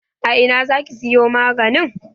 A ina za ki siyo maganin?